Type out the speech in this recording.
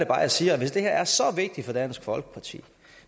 bare jeg siger at hvis det her er så vigtigt for dansk folkeparti